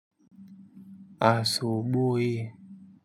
Asubuhi.